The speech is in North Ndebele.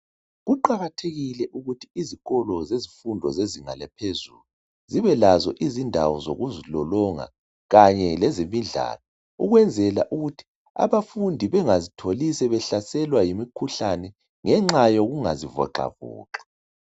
Kuqakathekile ukuthi izikolo zezimfundo zezinga eliphezulu zibelazo indawo zokuzilolonga kanye lezemidlalo ukwenzela ukuthi abafundi bengazitholi sebehlaselwa yimikhuhlane ngenxa yokungazivoxavoxi.